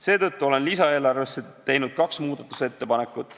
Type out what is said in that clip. Seetõttu olen lisaeelarvesse teinud kaks muudatusettepanekut.